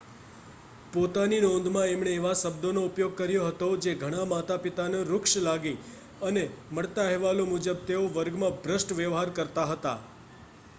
પોતાની નોંધમાં એમણે એવા શબ્દોનો ઉપયોગ કર્યો હતો જે ઘણાં માતાપિતાને રુક્ષ લાગી અને મળતા અહેવાલો મુજબ તેઓ વર્ગમાં ભ્રષ્ટ વ્યવહાર કરતા હતા